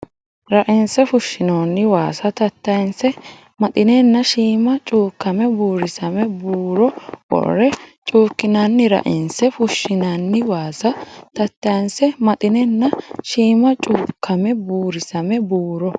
Rainse fushshinoonni waasa tattayinse maxinenna shiima cuukkame buurisame buuro worre cuukkinanni Rainse fushshinoonni waasa tattayinse maxinenna shiima cuukkame buurisame buuro.